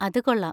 അത് കൊള്ളാം!